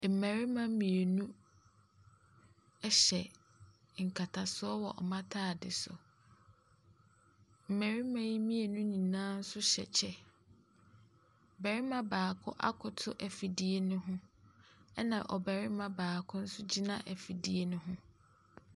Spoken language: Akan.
Mmarima mmienu hyɛ nkatasoɔ wɔ wɔn atade so. Mmarima mmienu yi nyinaa nso hyɛ kyɛ. Ɔbarima baako akoto afidie no ho, ɛnna ɔbarima baako nso gyina afidie no ho.